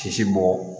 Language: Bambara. Sisi bɔ